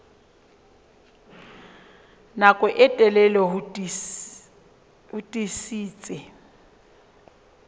nako e telele ho tiisitse